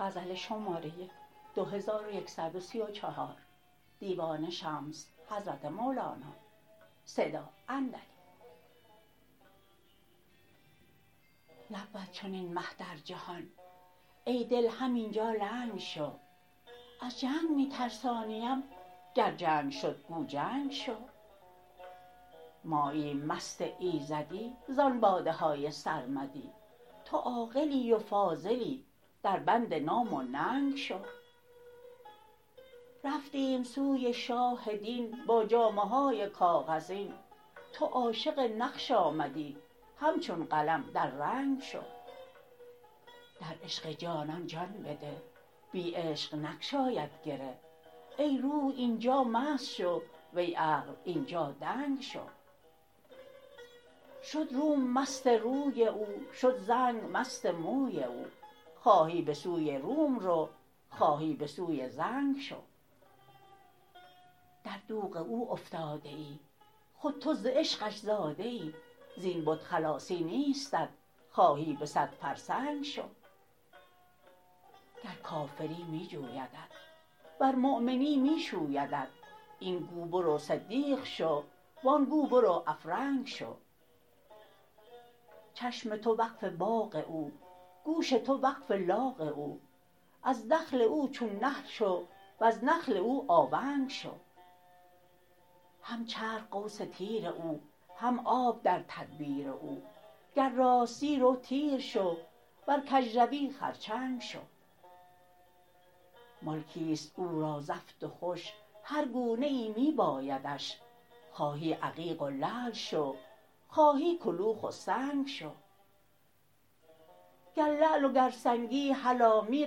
نبود چنین مه در جهان ای دل همین جا لنگ شو از جنگ می ترسانیم گر جنگ شد گو جنگ شو ماییم مست ایزدی زان باده های سرمدی تو عاقلی و فاضلی دربند نام و ننگ شو رفتیم سوی شاه دین با جامه های کاغذین تو عاشق نقش آمدی همچون قلم در رنگ شو در عشق جانان جان بده بی عشق نگشاید گره ای روح این جا مست شو وی عقل این جا دنگ شو شد روم مست روی او شد زنگ مست موی او خواهی به سوی روم رو خواهی به سوی زنگ شو در دوغ او افتاده ای خود تو ز عشقش زاده ای زین بت خلاصی نیستت خواهی به صد فرسنگ شو گر کافری می جویدت ورمؤمنی می شویدت این گو برو صدیق شو و آن گو برو افرنگ شو چشم تو وقف باغ او گوش تو وقف لاغ او از دخل او چون نخل شو وز نخل او آونگ شو هم چرخ قوس تیر او هم آب در تدبیر او گر راستی رو تیر شو ور کژروی خرچنگ شو ملکی است او را زفت و خوش هر گونه ای می بایدش خواهی عقیق و لعل شو خواهی کلوخ و سنگ شو گر لعل و گر سنگی هلا می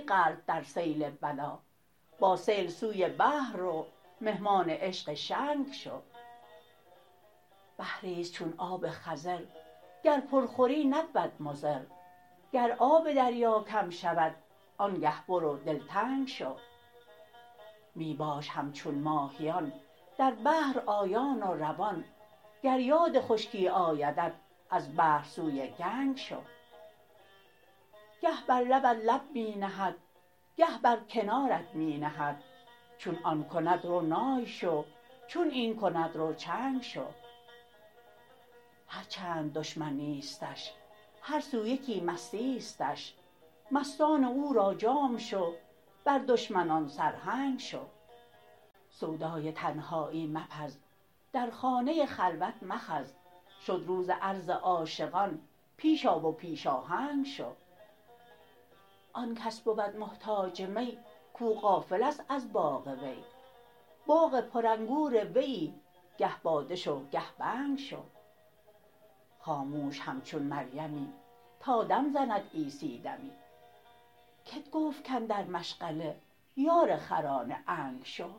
غلت در سیل بلا با سیل سوی بحر رو مهمان عشق شنگ شو بحری است چون آب خضر گر پر خوری نبود مضر گر آب دریا کم شود آنگه برو دلتنگ شو می باش همچون ماهیان در بحر آیان و روان گر یاد خشکی آیدت از بحر سوی گنگ شو گه بر لبت لب می نهد گه بر کنارت می نهد چون آن کند رو نای شو چون این کند رو چنگ شو هر چند دشمن نیستش هر سو یکی مستیستش مستان او را جام شو بر دشمنان سرهنگ شو سودای تنهایی مپز در خانه خلوت مخز شد روز عرض عاشقان پیش آ و پیش آهنگ شو آن کس بود محتاج می کو غافل است از باغ وی باغ پرانگور ویی گه باده شو گه بنگ شو خاموش همچون مریمی تا دم زند عیسی دمی کت گفت کاندر مشغله یار خران عنگ شو